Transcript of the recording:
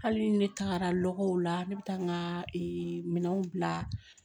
Hali ne tagara lɔgɔw la ne bɛ taa n ka minɛnw bila